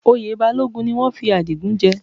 Oyè Balógun ni wọ́n fi Adigun jẹ